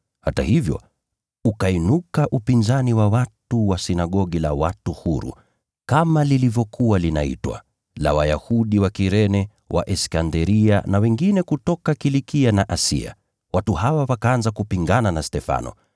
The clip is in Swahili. Hata hivyo, ukainuka upinzani wa watu wa Sinagogi la Watu Huru (kama lilivyokuwa linaitwa), la Wayahudi wa Kirene na wa Iskanderia, na wengine kutoka Kilikia na Asia. Watu hawa wakaanza kupingana na Stefano.